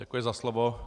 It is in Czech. Děkuji za slovo.